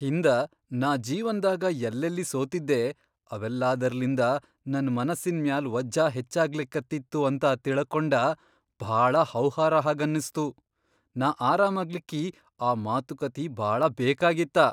ಹಿಂದ ನಾ ಜೀವನ್ದಾಗ ಯಲ್ಲೆಲ್ಲಿ ಸೋತಿದ್ದೆ ಅವೆಲ್ಲಾದರ್ಲಿಂದ ನನ್ ಮನಸಿನ್ ಮ್ಯಾಲ್ ವಜ್ಝ ಹೆಚ್ಚಾಗ್ಲಿಕತ್ತಿತ್ತು ಅಂತ ತಿಳಕೊಂಡ ಭಾಳ ಹೌಹಾರ ಹಾಗನಸ್ತು. ನಾ ಆರಾಮಾಗ್ಲಿಕ್ಕಿ ಆ ಮಾತುಕಥಿ ಭಾಳ ಬೇಕಾಗಿತ್ತ.